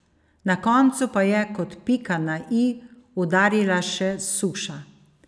Na koncu pa je, kot pika na i, udarila še suša.